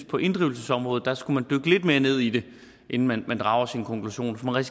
på inddrivelsesområdet skulle dykke lidt mere ned i det inden man drager sin konklusion for man